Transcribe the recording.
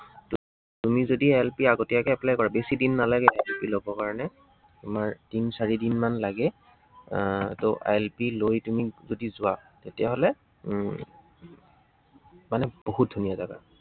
তুমি যদি ILP আগতীয়াকৈ apply কৰা, বেছিদিন নালাগে ILP লবৰ কাৰনে, তোমাৰ তিন চাৰিদিনমান লাগে। আহ ত ILP লৈ তুমি যদি যোৱা, তেতিয়াহলে উম মানে বহুত ধুনীয়া জাগা।